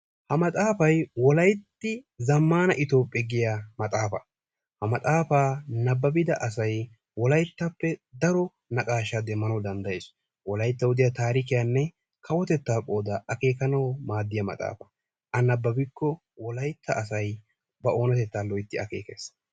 Ha maxaafay "wolayitti zammaana itophphe" giya maxxaafay. Ha maxxaafaa nababida asay wolayittappe daro naqaashaa demmanawu danddayees. Wolayittawu diya taarikiyanne kawotettaa qoodaa akeekanawu maaddiya maxxaafa. A nabbabbikko wolayitta asay na oonatettaa loyitti akeekes.